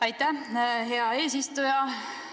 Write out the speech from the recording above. Aitäh, hea eesistuja!